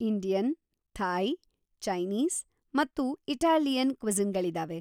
Indian, Thai, ಚೈನೀಸ್‌,ಮತ್ತು Italian ಕ್ವಿಸಿನ್‍ಗಳಿದಾವೆ.